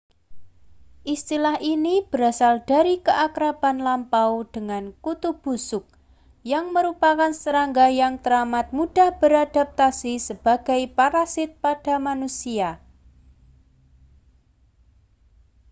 istilah ini berasal dari keakraban lampau dengan kutu busuk yang merupakan serangga yang teramat mudah beradaptasi sebagai parasit pada manusia